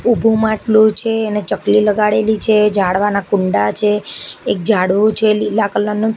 ઉભુ માટલુ છે અને ચકલી લગાડેલી છે ઝાડવાના કુંડા છે એક ઝાડવુ છે લીલા કલર નુ.